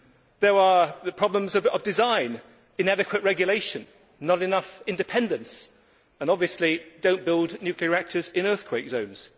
There are the problems of design, inadequate regulation, not enough independence and obviously do not build nuclear reactors in earthquake zones.